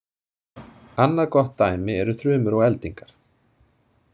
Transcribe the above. Annað gott dæmi eru þrumur og eldingar.